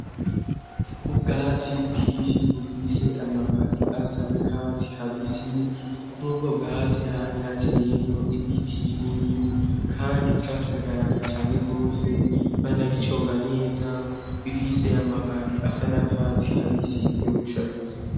Ubwatsi bwishi bufise amababi asanakatsi kabisi nk'ubwo bwatsi hari hakeyenko ibiti binini kandi vyasagaraye cyane gose banabiconga neza bifise amababi asanakatsi kabisi vyo gushariza.